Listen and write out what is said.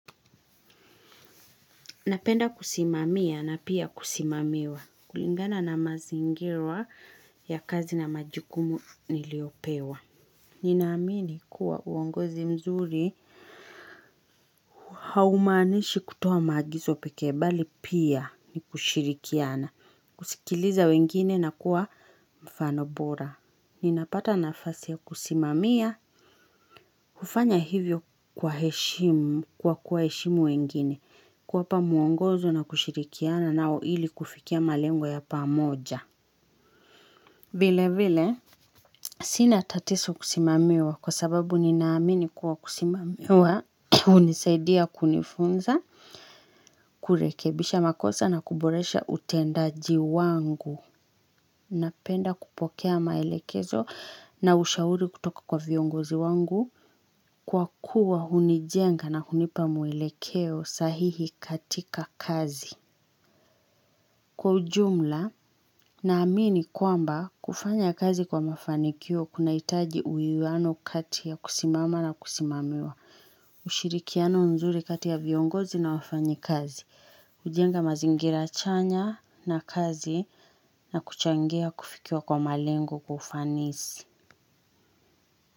Napenda kusimamia na pia kusimamiwa. Kulingana na mazingira ya kazi na majukumu niliopewa. Ninaamini kuwa uongozi mzuri haumaanishi kutoa maagizo pekee bali pia ni kushirikiana. Kusikiliza wengine na kuwa mfano bora. Ninapata nafasi ya kusimamia. Kufanya hivyo kwa heshimu, kwa kuwaheshimu wengine. Kuwapa muongozo na kushirikiana nao ili kufikia malengo ya pamoja. Vile vile, sina tatizo kusimamiwa kwa sababu ninaamini kwa kusimamiwa, hunisaidia kunifunza, kurekebisha makosa na kuboresha utendaji wangu. Napenda kupokea maelekezo na ushauri kutoka kwa viongozi wangu kwa kuwa hunijenga na hunipa muelekeo sahihi katika kazi. Kwa ujumla naamini kwamba kufanya kazi kwa mafanikio kunahitaji uwiano kati ya kusimama na kusimamiwa, ushirikiano nzuri kati ya viongozi na wafanyikazi, hujenga mazingira chanya na kazi na kuchangia kufikiwa kwa malengo kwa ufanisi.